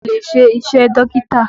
Mo lè ṣe iṣẹ́ Dókítà